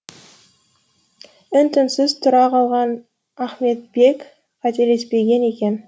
үн түнсіз тұра қалған ахметбек қателеспеген екен